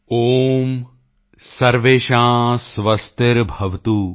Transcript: ਓਮ ਸਰਵੇਸ਼ਾਂ ਸਵਸਤੀਰਭਵਤੁ